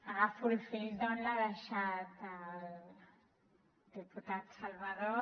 agafo el fil d’on l’ha deixat el diputat salvadó